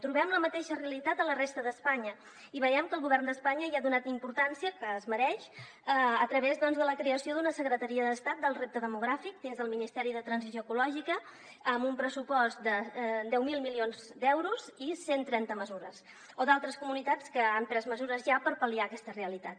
trobem la mateixa realitat a la resta d’espanya i veiem que el govern d’espanya hi ha donat la importància que es mereix a través de la creació de la secretaria d’estat per al repte demogràfic dins del ministeri per a la transició ecològica amb un pressupost de deu mil milions d’euros i cent trenta mesures o d’altres comunitats que han pres mesures ja per pal·liar aquesta realitat